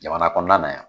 Jamana kɔnɔna na yan